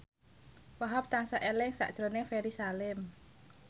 Wahhab tansah eling sakjroning Ferry Salim